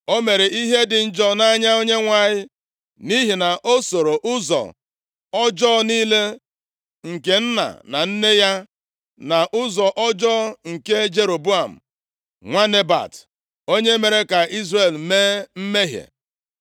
O mere ihe dị njọ nʼanya Onyenwe anyị, nʼihi na o sooro ụzọ ọjọọ niile nke nna na nne ya, na ụzọ ọjọọ nke Jeroboam nwa Nebat, onye mere ka Izrel mee mmehie.